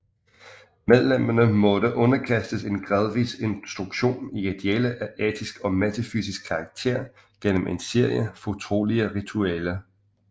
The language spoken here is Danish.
Medlemmerne måtte underkastes en gradvis instruktion i idealer af etisk og metafysisk karakter gennem en serie fortrolige ritualer